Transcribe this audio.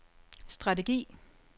strategi